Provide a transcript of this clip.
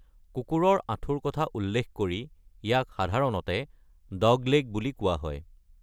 কুকুৰৰ আঁঠুৰ কথা উল্লেখ কৰি ইয়াক সাধাৰণতে ‘ডগলেগ’ বুলি কোৱা হয়।